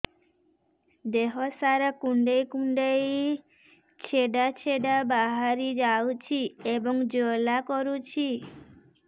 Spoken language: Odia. ଦେହ ସାରା କୁଣ୍ଡେଇ କୁଣ୍ଡେଇ ଛେଡ଼ା ଛେଡ଼ା ବାହାରି ଯାଉଛି ଏବଂ ଜ୍ୱାଳା କରୁଛି